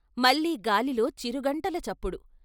మళ్ళీ గాలిలో చిరుగంటల చప్పుడు.